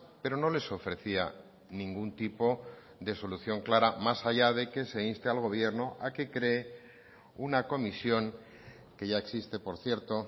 pero no les ofrecía ningún tipo de solución clara más allá de que se inste al gobierno a que cree una comisión que ya existe por cierto